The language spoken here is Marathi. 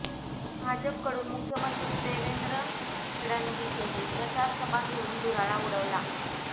भाजपकडून मुख्यमंञी देवेंद्र फडणवीसही प्रचार सभा घेऊन धुराळा उडवला